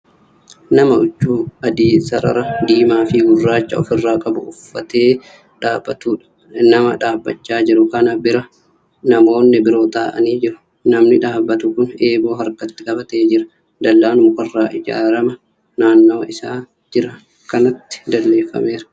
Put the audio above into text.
Nama huccuu adii sarara diimaafi gurraacha ofirraa qabu uffatee dhaabatuudha. nama dhaabachaa jiru kana bira namoonni biroo taa'anii jiru. namni dhaabatu kun eeboo harkatti qabatee Jira dallaan mukarraa ijaarama naannawa isaan Jiran kanatti dalleeffameera.